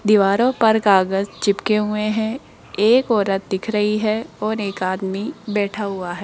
दीवारों पर कागज चिपके हुए हैं एक औरत दिख रही है और एक आदमी बैठा हुआ है।